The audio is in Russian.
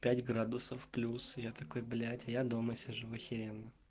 пять градусов плюс я такой блять а я дома сижу ахеренно